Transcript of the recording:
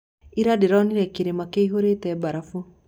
Ira ndĩronire kĩrima kĩihũrĩte mbarafu.